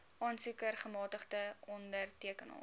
aansoeker gemagtigde ondertekenaar